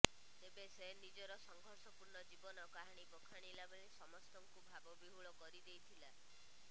ତେବେ ସେ ନିଜର ସଂଘର୍ଷପୂର୍ଣ୍ଣ ଜୀବନ କାହାଣୀ ବଖାଣିଲା ବେଳେ ସମସ୍ତଙ୍କୁ ଭାବବିହୂଳ କରିଦେଇ ଥିଲା